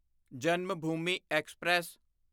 Janmabhoomi express